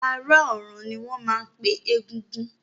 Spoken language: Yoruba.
Ará ọ̀run ni wọ́n máa ń pe egúngún